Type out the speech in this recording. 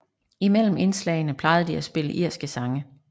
Imellem indslagene plejede de at spille irske sange